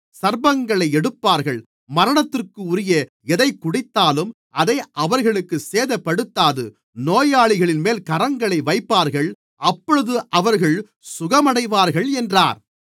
சர்ப்பங்களை எடுப்பார்கள் மரணத்திற்குரிய எதைக்குடித்தாலும் அது அவர்களைச் சேதப்படுத்தாது நோயாளிகளின்மேல் கரங்களை வைப்பார்கள் அப்பொழுது அவர்கள் சுகமடைவார்கள் என்றார்